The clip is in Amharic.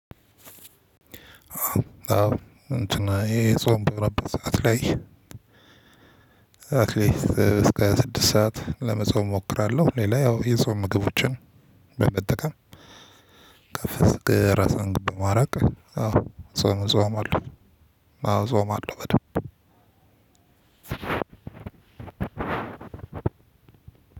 አዎ እንትና ይሄ ጾም በረበት ሰዓት ላይ አትሊስት እስከ ስድስት ሰዓት ለመጾም እሞክራለሁ። ሌላ ያው የጾም ምግቦችን በመጠቀም ከፍ ስቅ ራስ አንግድ ማራቅ አዎ ጾም ጾም አለው። አዎ ጾም አለው በደንብ።